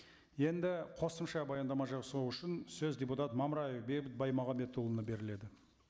енді қосымша баяндама жасау үшін сөз депутат мамраев бейбіт баймағамбетұлына беріледі